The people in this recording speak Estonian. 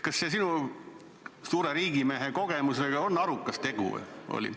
Kas see sinu suure riigimehe kogemuse kohaselt oli arukas otsus?